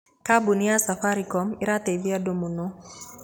Kambuni ya Safaricom ĩraateithirie andũ mũno